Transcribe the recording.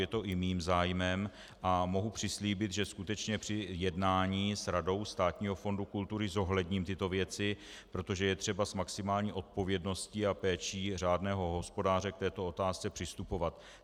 Je to i mým zájmem a mohu přislíbit, že skutečně při jednání s Radou Státního fondu kultury zohledním tyto věci, protože je třeba s maximální odpovědností a péčí řádného hospodáře k této otázce přistupovat.